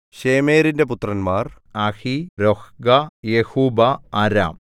ശേമേരിന്റെ പുത്രന്മാർ അഹീ രൊഹ്ഗാ യെഹുബ്ബാ അരാം